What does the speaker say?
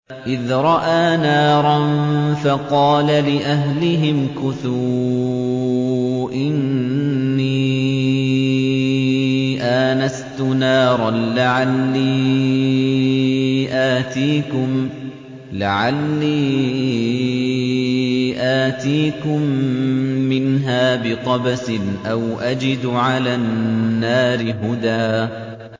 إِذْ رَأَىٰ نَارًا فَقَالَ لِأَهْلِهِ امْكُثُوا إِنِّي آنَسْتُ نَارًا لَّعَلِّي آتِيكُم مِّنْهَا بِقَبَسٍ أَوْ أَجِدُ عَلَى النَّارِ هُدًى